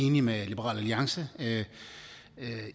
enig med liberal alliance